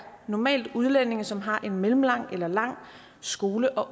normalt udlændinge som har en mellemlang eller lang skole og